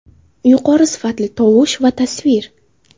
Yuqori sifatli tovush va tasvir.